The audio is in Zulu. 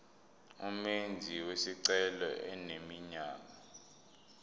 umenzi wesicelo eneminyaka